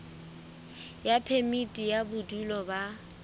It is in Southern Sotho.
ya phemiti ya bodulo ba